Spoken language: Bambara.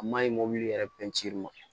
A maɲi mɔbili yɛrɛ